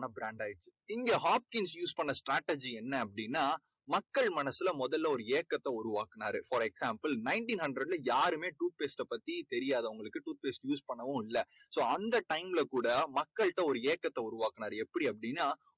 மக்கள் மனசுல முதல்ல ஒரு ஏக்கத்தை உருவாக்குனாரு. for example nineteen hundred ல யாருமே tooth paste ட பத்தி தெரியாது அவங்களுக்கு tooth paste use பண்ணவும் இல்லை. so அந்த time ல கூட மக்கள்ட ஒரு ஏக்கத்தை உருவாக்குனாரு எப்படி அப்படின்னா